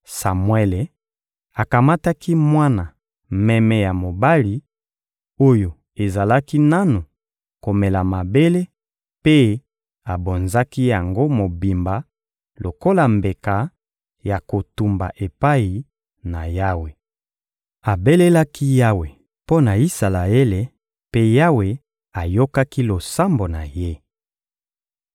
Samuele akamataki mwana meme ya mobali, oyo ezalaki nanu komela mabele, mpe abonzaki yango mobimba lokola mbeka ya kotumba epai na Yawe. Abelelaki Yawe mpo na Isalaele, mpe Yawe ayokaki losambo na ye.